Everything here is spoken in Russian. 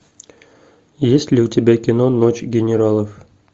есть ли у тебя кино ночь генералов